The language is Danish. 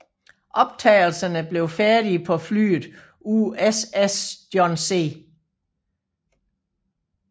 Optagelserne blev færdige på flyet USS John C